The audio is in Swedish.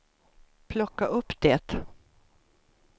plocka upp det